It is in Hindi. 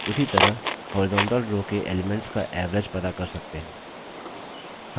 उसी तरह horizontal row के elements का average पता कर सकते हैं